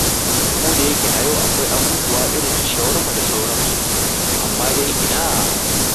Kodayake a yau akwai abubuwa irin su shawarma da sauransu, amma dai ina!